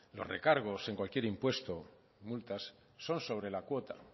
los recargos en cualquier impuesto multas son sobre la cuota